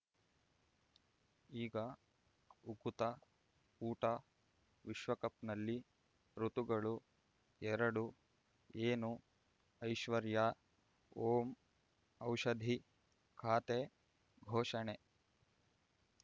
ಈಗ ಉಕುತ ಊಟ ವಿಶ್ವಕಪ್‌ನಲ್ಲಿ ಋತುಗಳು ಎರಡು ಏನು ಐಶ್ವರ್ಯಾ ಓಂ ಔಷಧಿ ಖಾತೆ ಘೋಷಣೆ